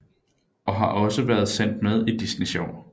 Og har også været sendt med i Disney Sjov